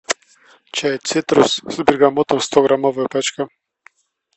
чай цитрус с бергамотом сто граммовая пачка